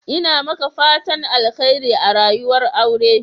Ina maka fatan Alkhairi a rayuwar aure.